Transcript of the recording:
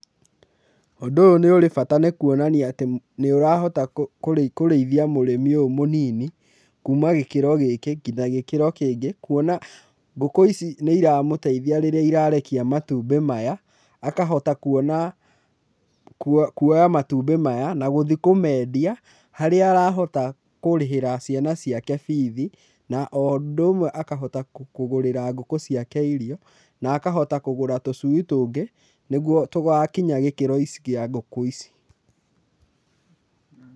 Ũndũ ũyũ nĩ ũrĩ bata nĩ kuonania atĩ nĩ ũrahota kũrĩithia mũrĩmi ũyũ mũnini kuma gĩkĩro gĩkĩ nginya gĩkĩro kĩngĩ, kuona ngũkũ ici nĩ iramũteithia rĩrĩa irarekia matumbĩ maya, akahota kuona, kuoya matumbĩ maya na gũthiĩ kũmendia harĩa arahota kũrĩhĩra ciana ciake bithi, na o ũndũ ũmwe akahota kũgũrĩra ngũkũ ciake irio, na akahota kũgũra tũcui tũngĩ, nĩguo tũgakinya gĩkĩro kĩa ngũkũ ici.